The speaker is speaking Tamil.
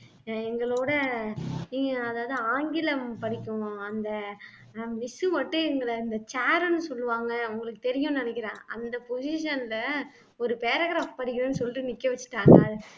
ஆஹ் எங்களோட இ ஆஹ் அதாவது ஆங்கிலம் படிக்கும் அந்த அஹ் miss மட்டும் எங்களை இந்த chair ன்னு சொல்லுவாங்க உங்களுக்கு தெரியும்ன்னு நினைக்கிறேன் அந்த position ல ஒரு paragraph படிக்கலைன்னு சொல்லிட்டு நிக்க வச்சுட்டாங்க